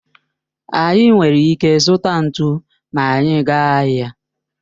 Anyị nwere ike zụta ntụ ma anyị gaa ahịa